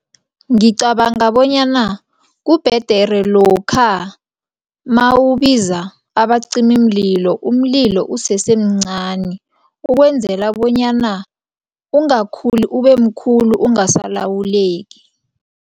Ngicabanga bonyana kubhedere lokha mawubiza abacimimlilo umlilo usesemncani ukwenzela bonyana ukungakhuli ubemkhulu ungasalawuleki.